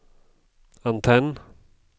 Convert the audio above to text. antenn